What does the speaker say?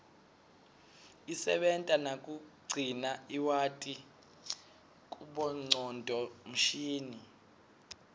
isebenta nakugcina lwati kubongcondo mshini